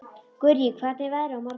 Gurrí, hvernig er veðrið á morgun?